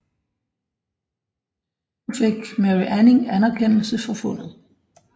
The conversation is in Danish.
Nu fik Mary Anning anerkendelse for fundet